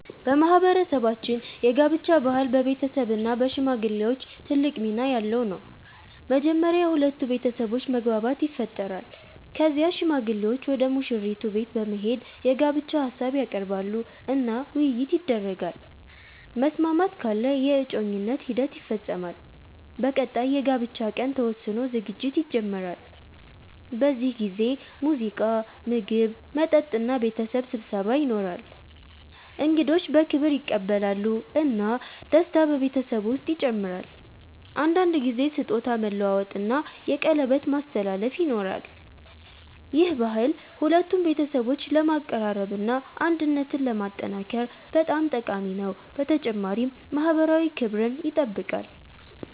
በማህበረሰባችን የጋብቻ ባህል በቤተሰብ እና በሽማግሌዎች ትልቅ ሚና ያለው ነው። መጀመሪያ የሁለቱ ቤተሰቦች መግባባት ይፈጠራል። ከዚያ ሽማግሌዎች ወደ ሙሽራይቱ ቤት በመሄድ የጋብቻ ሀሳብ ያቀርባሉ እና ውይይት ይደረጋል። መስማማት ካለ የእጮኝነት ሂደት ይፈጸማል። በቀጣይ የጋብቻ ቀን ተወስኖ ዝግጅት ይጀመራል። በዚህ ጊዜ ሙዚቃ፣ ምግብ፣ መጠጥ እና ቤተሰብ ስብሰባ ይኖራል። እንግዶች በክብር ይቀበላሉ እና ደስታ በቤተሰቡ ውስጥ ይጨምራል። አንዳንድ ጊዜ ስጦታ መለዋወጥ እና የቀለበት ማስተላለፍ ይኖራል። ይህ ባህል ሁለቱን ቤተሰቦች ለማቀራረብ እና አንድነትን ለማጠናከር በጣም ጠቃሚ ነው፣ በተጨማሪም ማህበራዊ ክብርን ይጠብቃል።